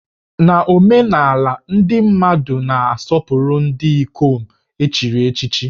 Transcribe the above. Na omenala, ndị mmadụ na-asọpụrụ ndị ikom e chiri echichi